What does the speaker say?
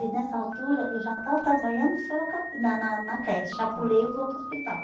E nessa altura eu já estava trabalhando em Soroca na na na creche, já pulei os outros hospitais.